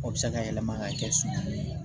O bɛ se ka yɛlɛma ka kɛ sunɔgɔ ye